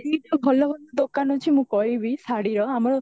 ରେ ଭଲ ଭଲ ଦୁକାନ ଅଛି ମୁଁ କହିବି ଶାଢୀର ଆମର